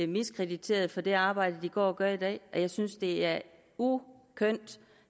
miskrediteret for det arbejde de går og gør i dag jeg synes at det er ukønt